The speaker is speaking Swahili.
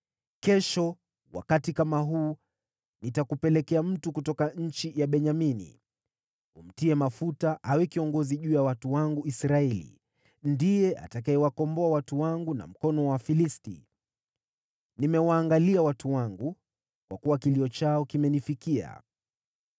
“Kesho wakati kama huu nitakupelekea mtu kutoka nchi ya Benyamini. Umtie mafuta awe kiongozi juu ya watu wangu Israeli, ndiye atakayewakomboa watu wangu na mkono wa Wafilisti. Nimewaangalia watu wangu, kwa kuwa kilio chao kimenifikia.”